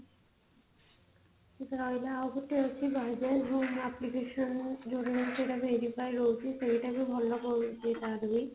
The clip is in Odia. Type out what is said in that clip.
ଆଉ ଗୋଟେ ଅଛି wizack home application ରୁ ଯୋଊ ଜିନିଷଟା verify ହଉଛି ସେଇଟା ହିଁ ଭଲ ପଡୁଛି ତାର ବି